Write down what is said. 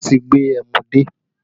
Wọn tí gbé ẹmu dé